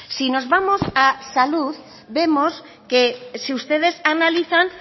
si nos vamos a salud vemos que si ustedes analizan